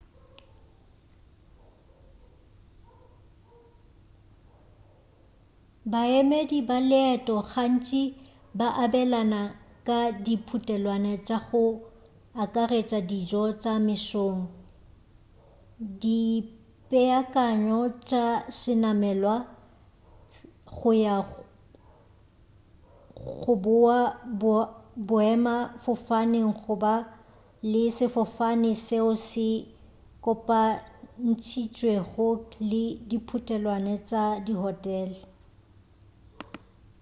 baemedi ba leeto gantši ba abelana ka diputelwana tša go akaretša dijo tša mesong dipeakanyo tša senamelwa go ya/go boa boemafofane goba le sefofane seo se kopantšitšwego le diputelwana tša dihotele